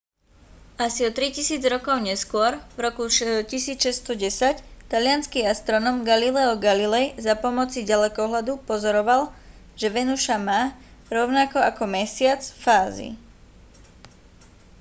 asi o tri tisíc rokov neskôr v roku 1610 taliansky astronóm galileo galilei za pomoci ďalekohľadu pozoroval že venuša má rovnako ako mesiac fázy